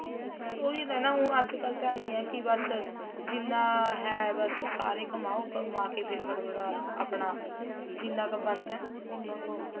ਫ਼ੇਰ ਉਹੀ ਤਾਂ ਹੈ ਨਾ ਹੁਣ ਅੱਜਕਲ ਤਾਂ ਐ ਹੈ ਕੀ ਬੱਸ ਜਿੰਨਾ ਹੈ ਬੱਸ ਸਾਰੇ ਕਮਾਹੋ ਕਮਾਕੇ ਫ਼ੇਰ ਫ਼ਟਾਫ਼ਟ ਆਪਣਾ ਜਿੰਨਾ ਕ਼ ਬਣਦਾ ਏ ਉੰਨਾ ਕ਼ ਹੈ